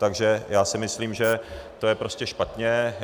Takže já si myslím, že to je prostě špatně.